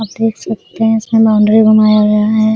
आप देख सकते हैं इसमें लॉन्ड्री बनाया गया हैं।